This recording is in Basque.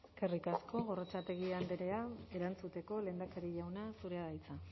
eskerrik asko gorrotxategi andrea erantzuteko lehendakari jauna zurea da hitza